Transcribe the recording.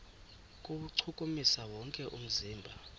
kuwuchukumisa wonke umzimba